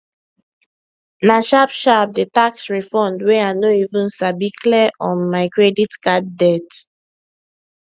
nah sharp sharp the tax refund wey i no even sabi clear um my credit card debt